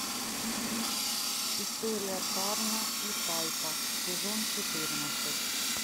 история тарна и тайпа сезон четырнадцать